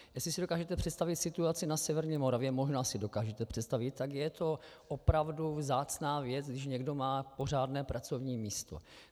Jestli si dokážete představit situaci na severní Moravě, možná si dokážete představit, tak je to opravdu vzácná věc, když někdo má pořádné pracovní místo.